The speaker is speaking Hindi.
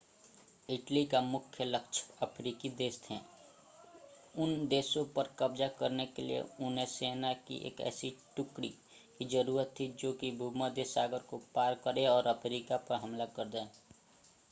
इटली का मुख्य लक्ष्य अफ्रीकी देश थे उन देशों पर कब्जा करने के लिए उन्हें सेना की एक ऐसी टुकड़ी की जरूरत थी जो कि भूमध्य सागर को पार करे और अफ्रीका पर हमला कर दे